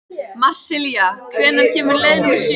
Marsilía, hvenær kemur leið númer sjö?